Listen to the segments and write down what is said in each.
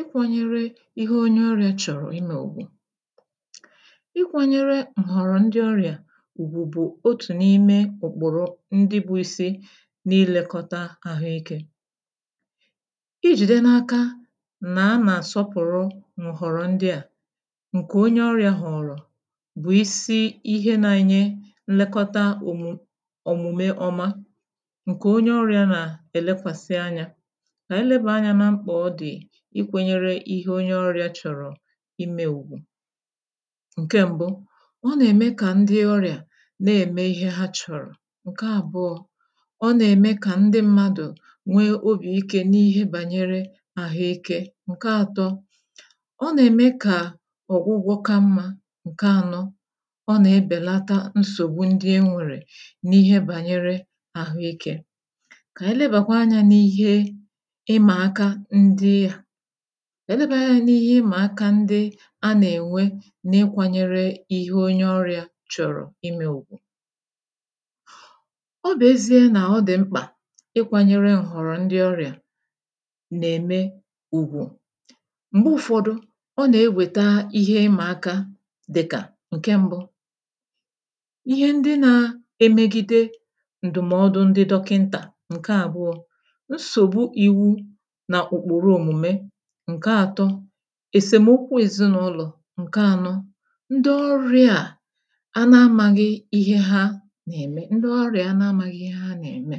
Ikwȧnyere ihe onye ọrị̇ȧ chọ̀rọ̀ ịme ugwù: ikwȧnyere m̀họ̀rọ̀ ndị ọrị̇ȧ ùgbù bu otù n’ime ụ̀kpụ̀rụ̀ ndị bu isi n’ilėkọta àhụ ikė. I jìde n’aka nà a nà-àsọpụ̀rụ m̀họ̀rọ̀ ndị à, ǹkè onye ọrị̇ȧ họ̀rọ̀ bụ̀ isi ihe nȧ-enye nlekọta òmù òmume ọma ǹkè onye ọrị̇ȧ nà-èlekwàsị anyȧ. Kà anyi lebanya na mkpa o di ikwȧnyere ihe onye ọrịa chọ̀rọ̀ imė ùgwù. Nke mbu̇, ọ nà-ème kà ndị ọrịà na-ème ihe ha chọ̀rọ̀. Nke àbụọ̇, ọ nà-ème kà ndị mmadụ̀ nwee obì ike n’ihe bànyere àhụike. Nke àtọ, ọ nà-ème kà ọ̀gwụgwọ ka mmȧ. Nke ànọ, ọ nà-ebèlata nsògbu ndị e nwèrè n’ihe bànyere àhụike. K'ànyi leba kwa anyȧ n’ihe ịmà aka ndị a, k'ànyi leba kwa anyȧ n'ihe ima aka ndị a nà-ènwe n’ịkwanyere ihe onye ọrịà chọrọ̀ ime ùgwù. ọ bụ̀ ezie nà ọ dị̀ mkpà ịkwȧnyere nhọ̀rọ̀ ndị ọrịà nà-ème ùgwù, m̀gbe ụ̇fọdụ ọ nà-ewèta ihe ịmà aka dịkà; Nke mbụ, Ihe ndị n'emegide ndumodu ndị dọkịnta. Nke àbụọ, nsogbu ìwu na ụ̀kpụ̀rụ̀ omume. Nke àtọ, èsèmokwu èzinụlọ̀. Nke ànọ, ndị ọrịà a ana-amȧghị̇ ihe ha nà-ème, ndị ọrịà anȧ ȧmȧghị̇ ihe ha nà-ème.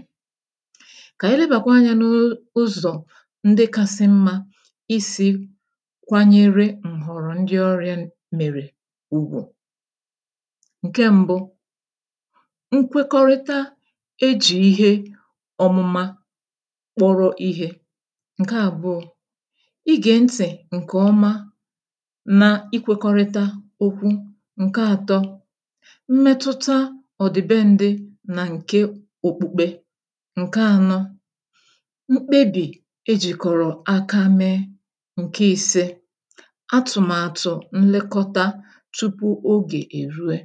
Kà anyị lebàkwa anyȧ n’ụzọ̀ ndị kasị mmȧ isi kwanyere ǹhọ̀rọ̀ ndị ọrịa m mèrè ùgwù. Nke mbu, nkwekọrịta ejì ihe ọmụma kpọrọ ihe. Nkè àbụọ, igè ntị̀ ǹkè ọma na-ikwekọrịta okwu. Nke atọ, mmetụta ọ̀ dị be ǹdị nà ǹke òkpukpe. Nke anọ, mkpebì ejìkọ̀rọ̀ aka mee. Nke ise, atụ̀màtụ̀ nlekọta tupu ogè eruè.